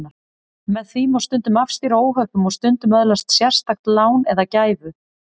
Með því má stundum afstýra óhöppum og stundum öðlast sérstakt lán eða gæfu.